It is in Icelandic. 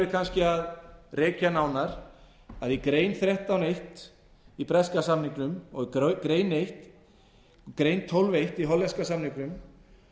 kannski að rekja nánar að í grein þrettán eitt í breska samningnum og grein tólf eitt í hollenska samningnum